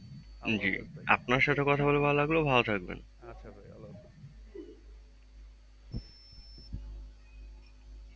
জী আপনার সাতে কথা বলে ভালো লাগলো। ভালো থাকবেন